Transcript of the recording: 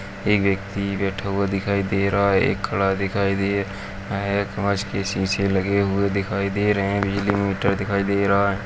एक व्यक्ति बैठा हुआ दिखाई दे रहा है एक खड़ा दिखाई दे रहा है कांच के शीशे लगे हुए दिखाई दे रहे हैं बिजली मीटर दिखाई दे रहा है।